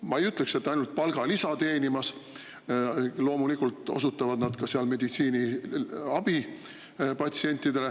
Ma ei ütleks, et nad käivad seal ainult palgalisa teenimas, loomulikult osutavad nad seal meditsiiniabi patsientidele.